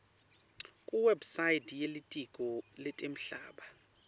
kuwebsite yelitiko letemhlaba